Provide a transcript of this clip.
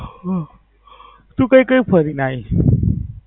હમ તું કય કય ફરી ને આવી?